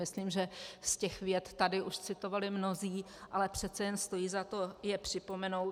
Myslím, že z těch vět už tady citovali mnozí, ale přece jen stojí za to je připomenout.